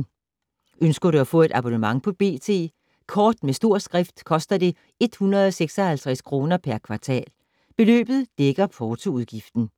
Ønsker du at få et abonnement på B.T. Kort med stor skrift koster det 156 kr. per kvartal. Beløbet dækker portoudgiften.